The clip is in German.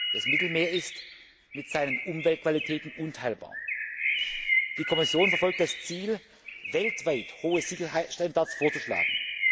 Das Mittelmeer ist mit seinen Umweltqualitäten unteilbar. Die Kommission verfolgt das Ziel, weltweit hohe Sicherheitsstandards vorzuschlagen.